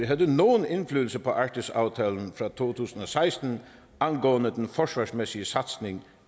havde nogen indflydelse på arktisaftalen fra to tusind og seksten angående den forsvarsmæssige satsning